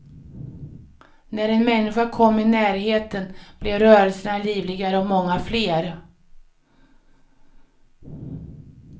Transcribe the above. När en människa kom i närheten blev rörelserna livligare och många fler.